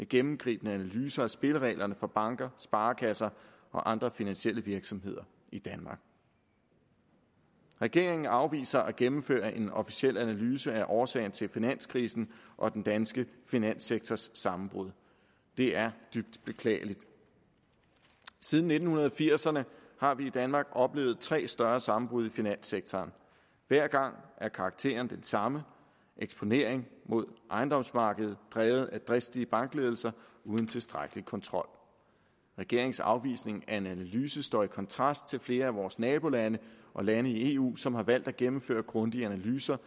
gennemgribende analyse af spillereglerne for banker sparekasser og andre finansielle virksomheder i danmark regeringen afviser at gennemføre en officiel analyse af årsagen til finanskrisen og den danske finanssektors sammenbrud det er dybt beklageligt siden nitten firserne har vi i danmark oplevet tre større sammenbrud i finanssektoren hver gang er karakteren den samme eksponering mod ejendomsmarkedet drevet af dristige bankledelser uden tilstrækkelig kontrol regeringens afvisning af en analyse står i kontrast til flere af vores nabolande og lande i eu som har valgt at gennemføre grundige analyser